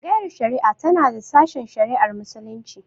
Tsangayar shari'a tana da sashen shari'ar Muslunci.